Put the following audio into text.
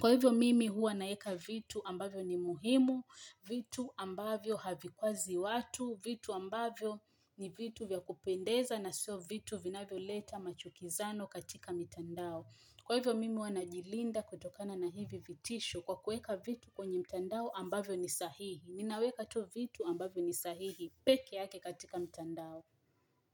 Kwa hivyo mimi huwa naeka vitu ambavyo ni muhimu, vitu ambavyo havikwazi watu, vitu ambavyo ni vitu vya kupendeza na sio vitu vinavyo leta machukizano katika mitandao. Kwa hivyo mimi huwa najilinda kutokana na hivi vitisho kwa kueka vitu kwenye mtandao ambavyo ni sahihi. Ninaweka tu vitu ambavyo ni sahihi. Peke yake katika mitandao.